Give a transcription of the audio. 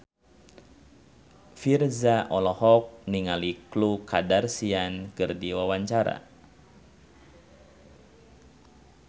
Virzha olohok ningali Khloe Kardashian keur diwawancara